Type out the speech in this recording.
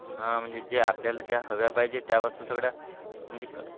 हां म्हणजे जे आपल्याला ज्या हव्या पाहिजे त्या वस्तू सगळ्या म्हणजे,